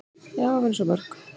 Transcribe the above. """Já, við erum svo mörg."""